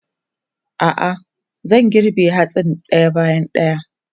A'a, zan girbe hatsin ɗaya bayan ɗaya.